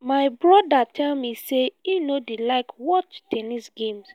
my broda tell me say he no dey like watch ten nis games